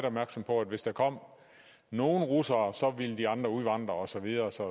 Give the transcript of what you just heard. opmærksom på at hvis der kom nogle russere ville de andre udvandre og så videre og så